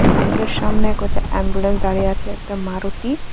বিল্ডিংয়ের সামনে কটা অ্যাম্বুলেন্স দাঁড়িয়ে আছে একটা মারুতি ।